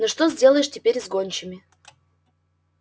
но что сделаешь теперь с гончими